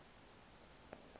ngudange